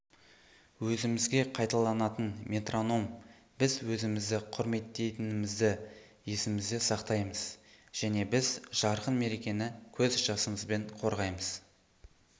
өзімізге қайталанатын метроном біз өзімізді құрметтейтінімізді есімізде сақтаймыз және біз жарқын мерекені көз жасымызбен қорғаймыз